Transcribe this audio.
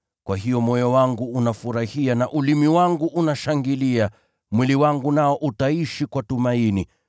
Kwa hiyo moyo wangu unafurahia, na ulimi wangu unashangilia; mwili wangu nao utapumzika kwa tumaini.